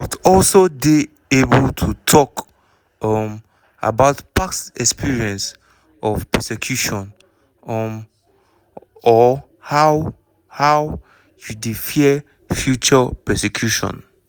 must also dey able to tok um about past experience of persecution um or how how you dey fear future persecution.